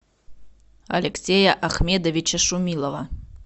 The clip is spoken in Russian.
алексея ахмедовича шумилова